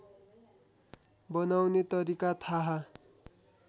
बनाउने तरिका थाहा